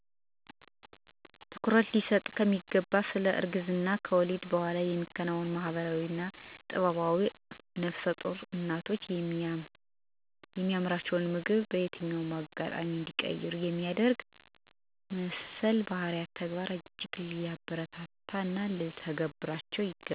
ትኩረት ሊሰጠው ከሚገባ ስለ እርግዝና/ከወሊድ በኋላ የሚከናወን ባህላዊ ጥበብ አንዱ ነፍሰጡር እናቶ የሚያምራቸውን ምግብ በየትኛውም አጋጣሚ እንዲቀምሱ ማድረግ መሰል ባህላዊ ተግባራት እጅግ ሊበረታቱ ይገባል። መተው ያለባቸው ጎጂ ልማዶች ያለእድሜ ልጆችን መዳር፣ የሴት ልጅ ግርዛት፣ ግግ ማስቧጠጥ፣ ከስድስት ወር በታች የሆነን ህፃን ቅቤ ማዋጥ፣ ወዘተርፈ ውስጥ ጥቂቶች ናቸው።